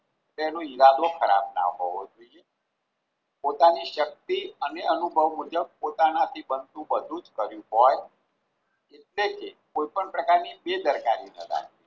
તેનો ઈરાદો ખરાબ ના હોવો જોઈએ પોતાની શક્તિ અને અનુભવ મુજબ પોતાનાથી બનતું બધું જ કર્યું હોય એટલે કે કોઈ પણ પ્રકારની બેદરકારી ન રાખી